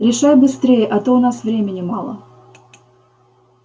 решай быстрее а то у нас времени мало